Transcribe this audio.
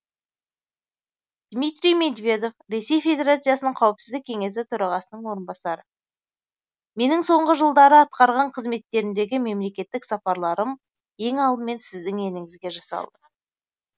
дмитрий медведев ресей федерациясының қауіпсіздік кеңесі төрағасының орынбасары менің соңғы жылдары атқарған қызметтерімдегі мемлекеттік сапарларым ең алдымен сіздің еліңізге жасалды